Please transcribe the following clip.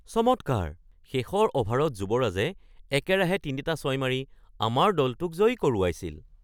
চমৎকাৰ! শেষৰ অভাৰত যুৱৰাজে একেৰাহে তিনিটা ছয় মাৰি আমাৰ দলটোক জয়ী কৰোৱাইছিল।